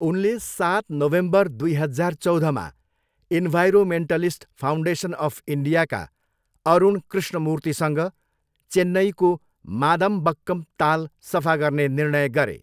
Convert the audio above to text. उनले सात नोभेम्बर दुई हजार चौधमा इन्भाइरोन्मेन्टलिस्ट फाउन्डेसन अफ इन्डियाका अरुण कृष्णमूर्तिसँग चेन्नईको मादामबक्कम ताल सफा गर्ने निर्णय गरे।